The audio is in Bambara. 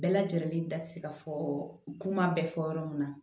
Bɛɛ lajɛlen da tɛ se ka fɔ kuma bɛɛ fɔ yɔrɔ min na